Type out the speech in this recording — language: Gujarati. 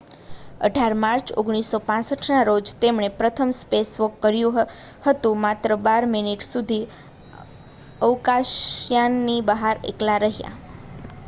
"18 માર્ચ 1965ના રોજ તેમણે પ્રથમ "સ્પેસવોક" કર્યું હતું. માત્ર બાર મિનિટ સુધી જ અવકાશયાનની બહાર એકલા રહ્યા.